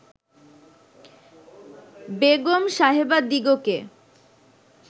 Begum সাহেবাদিগকে